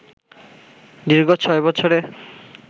দীর্ঘ ছয় বছরে